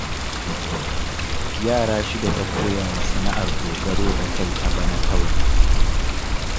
Yara shida ta koya wa sana'ar dogaro da kai a bana kawai